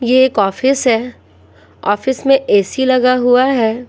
ये एक ऑफिस है ऑफिस में एसी लगा हुआ है।